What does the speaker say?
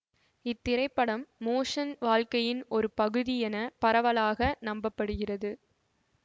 இத்திரைபடம் மோசன் வாழ்க்கையின் ஒரு பகுதி என பரவலாக நம்ப படுகிறது